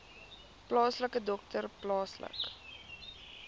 plaaslike dokter plaaslike